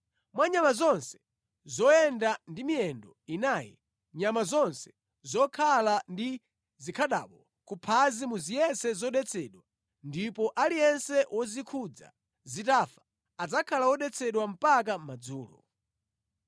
Mwa nyama zonse zoyenda ndi miyendo inayi, nyama zonse zokhala ndi zikhadabo kuphazi muzitenge kukhala zodetsedwa ndipo aliyense wozikhudza zitafa adzakhala wodetsedwa mpaka madzulo.